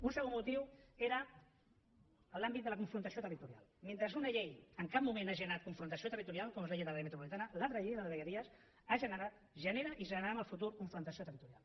un segon motiu era l’àmbit de la confrontació territorial mentre una llei en cap moment ha generat confrontació territorial com és la llei de l’àrea metropolitana l’altra llei la de vegueries ha generat genera i generarà en el futur confrontació territorial